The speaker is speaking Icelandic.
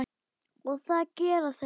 Og það gera þeir.